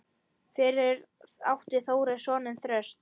Fyrir átti Þórir soninn Þröst.